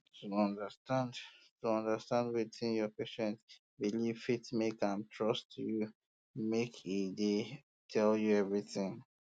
to understand to understand wetin your patient belief fit make am trust you make e dey um tell you everything